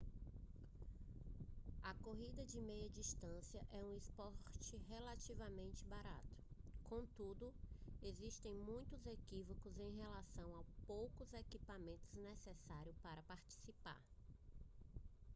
a corrida de meia distância é um esporte relativamente barato contudo existem muitos equívocos em relação aos poucos equipamentos necessários para participar